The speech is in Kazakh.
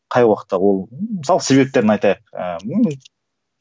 қай уақытта ол мысалы себептерін айтайық